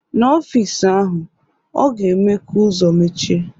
N'ọfịs ahụ, ọ ga-eme ka ụzọ mechie